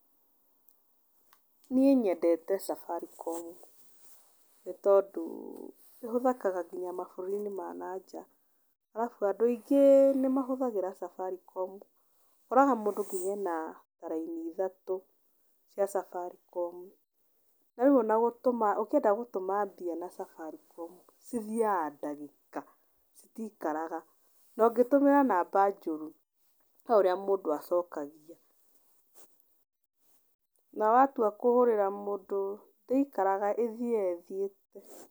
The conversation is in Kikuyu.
Niĩ nyendete Safaricom. Nĩ tondũ ĩhũthĩkaga nginya mabũrũri-inĩ ma nanja, arabu andũ aingĩ nĩ mahũthagĩra Safaricom. Ũkoraga mũndũ nginya ena ta raini ithatũ cia Safaricom, na rĩu ona gũtũma ũngĩenda gũtũma mbia na Safaricom cithiaga ndagĩka citiikaraga. Na ũngĩtũmĩra namba njurũ he ũrĩa mũndũ acokagia. Na watua kũhũrĩra mũndũ ndĩikaraga ĩthiaga ĩthiĩte.